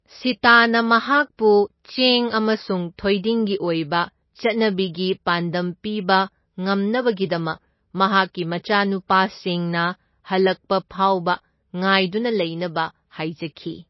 ꯁꯤꯇꯥꯅ ꯃꯍꯥꯛꯄꯨ ꯆꯦꯡ ꯑꯃꯁꯨꯡ ꯊꯣꯏꯗꯤꯡꯒꯤ ꯑꯣꯏꯕ ꯆꯠꯅꯕꯤꯒꯤ ꯄꯥꯟꯗꯝ ꯄꯤꯕ ꯉꯝꯅꯕꯒꯤꯗꯃꯛ ꯃꯍꯥꯛꯀꯤ ꯃꯆꯥꯅꯨꯄꯥꯁꯤꯡꯅ ꯍꯜꯂꯛꯄ ꯐꯥꯎꯕ ꯉꯥꯏꯗꯨꯅ ꯂꯩꯅꯕ ꯍꯥꯏꯖꯈꯤ꯫